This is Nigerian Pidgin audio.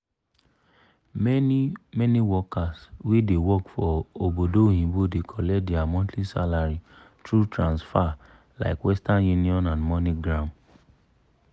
many-many workers wey dey work for obodo oyinbo dey collect dia monthly salary thru transfa- like western union and moneygram.